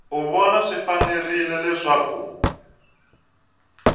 u vona swi fanerile leswaku